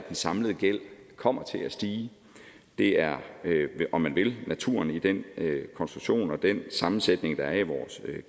den samlede gæld kommer til at stige det er om man vil naturen i den konstruktion og i den sammensætning der er i vores